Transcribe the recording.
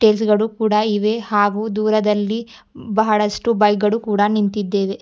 Tiles ಗಳು ಕೂಡ ಇವೆ ಹಾಗೂ ದೂರದಲ್ಲಿ ಬಹಳಷ್ಟು ಬೈಗಡು ಕೂಡ ನಿಂತಿದ್ದೇವೆ.